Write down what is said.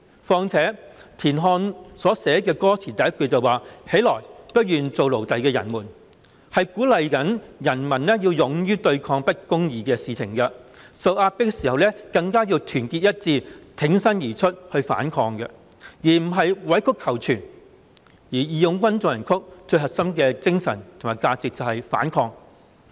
況且，田漢所寫的歌詞，第一句是"起來，不願做奴隸的人們"，是鼓勵人民要勇於對抗不公義的事情，受壓迫的時候更加要團結一致，挺身而出去反抗，而不是委曲求全，"義勇軍進行曲"最核心的精神及價值就是反抗。